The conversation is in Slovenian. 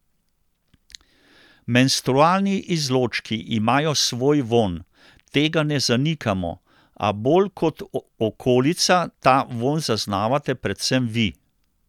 Menstrualni izločki imajo svoj vonj, tega ne zanikamo, a bolj kot okolica ta vonj zaznavate predvsem vi.